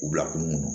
U bila kun kɔnɔ